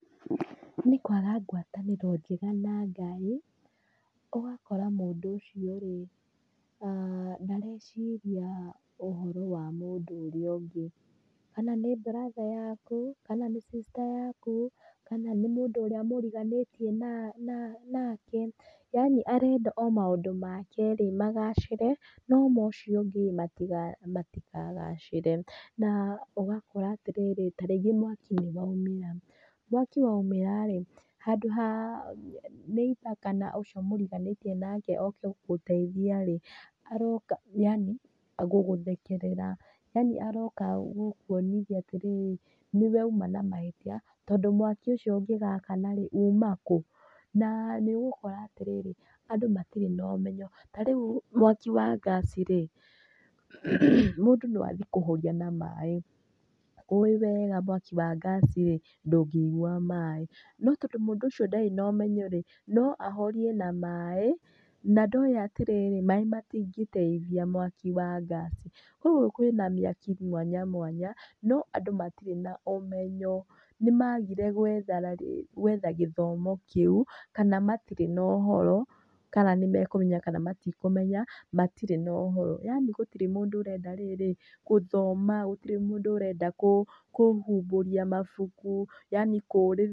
Nĩ kwaga ngwatanĩro njega na Ngai, ũgakora mũndũ ũcio rĩ, ndareciria ũhoro wa mũndũ ũrĩa ũngĩ. Kana nĩ brother yaku kana nĩ sister yaku kana ni mũndũ ũrĩa mũriganĩtie nake yaani arenda o maũndũ make rĩ, magacire no ma ũcio ũngĩ rĩ matikagacire. Na ũgakora atĩrĩrĩ ta rĩngĩ mwaki nĩ woimĩra, mwaki woimĩra rĩ handũ ha neighbour kana ũcio mũriganĩtie nake oke gũgũteithia rĩ, aroka yaani gũgũthekerera, yaani aroka gũkuonithia atĩrĩrĩ, nĩwe uma na mahĩtia tondũ mwaki ũcio ũngĩgakana rĩ uma kũ? Na nĩ ũgũkora atĩrĩrĩ andũ matirĩ na ũmenyo, ta rĩu mwaki wa ngaci rĩ mũndũ no athiĩ kũhoria na maĩ ũĩ wega mwaki wa ngaci rĩ, ndũngĩigua maĩ. No tondũ mũndũ ũcio ndarĩ na ũmenyo rĩ no ahorie na maĩ na ndoĩ atĩrĩrĩ maĩ matingĩteithia na mwaki wa ngaci. Koguo kwĩna mĩaki mwanya mwanya no andũ matirĩ na ũmenyo nĩ magire gwetha gĩthomo kĩu kana matirĩ na ũhoro kana nĩ mekũmenya kana matikũmenya matirĩ na ũhoro yaani gũtirĩ mũndũ ũrenda rĩrĩ gũthoma, gũtĩrĩ mũndũ ũrenda kũhumbũria mabuku yaani kũũrĩrĩria.